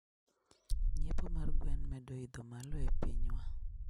Nyiepo mar gwen medo idho malo e pinywa